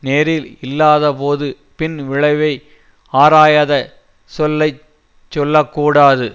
நேரில் இல்லாதபோது பின் விளைவை ஆராயாத சொல்லை சொல்ல கூடாது